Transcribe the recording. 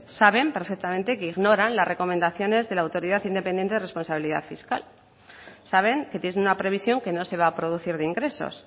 saben perfectamente que ignoran las recomendaciones de la autoridad independiente de responsabilidad fiscal saben que tienen una previsión que no se va a producir de ingresos